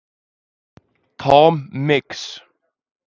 Tom Mix